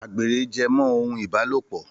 Àgbèrè jẹ́ mọ́ ohun ìbálòpọ̀